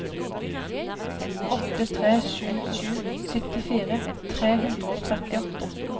åtte tre sju sju syttifire tre hundre og trettiåtte